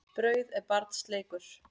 Brauð er barns leikur.